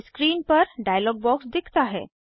screen पर dialog box दिखता है